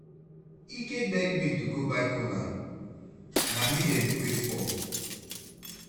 Ike beg me to go buy kola, na me dem dey wait for.